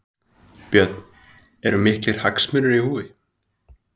Björn: Eru miklir hagsmunir í húfi?